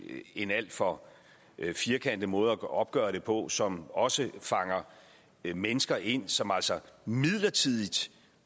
en alt for firkantet måde at opgøre det på som også fanger mennesker ind som altså midlertidigt